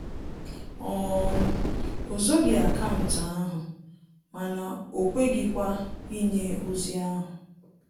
um O zoghi akaụntụ ahụ mana o kweghịkwa inye ozi ahu